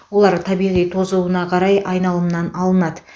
олар табиғи тозуына қарай айналымнан алынады